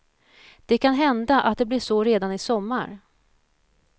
Det kan hända att det blir så redan i sommar.